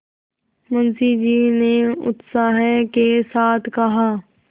मुंशी जी ने उत्साह के साथ कहा